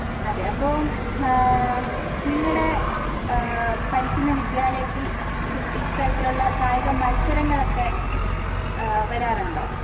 അതെ അപ്പൊ ആഹ് നിങ്ങടെ ഏഹ് പഠിക്ക്ണ വിദ്യാലയത്തിൽ ഇത് ഇത്തരത്തിലുള്ള കായിക മത്സരങ്ങളൊക്കെ ഏഹ് വരാറുണ്ടോ?